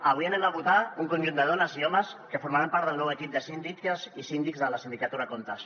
avui votarem un conjunt de dones i homes que formaran part del nou equip de síndiques i síndics de la sindicatura de comptes